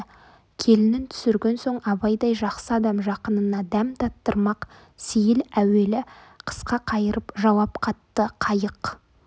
келінін түсірген соң абайдай жақсы адам жақынына дәм таттырмақ сейіл әуелі қысқа қайырып жауап қатты қайық